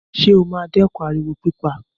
Ṣé ó máa dẹ́kun ariwo pípa?